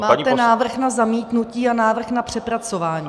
Máte návrh na zamítnutí a návrh na přepracování.